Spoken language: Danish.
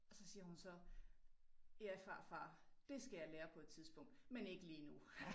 Så siger hun så ja farfar det skal jeg lære på et tidspunkt men ikke lige nu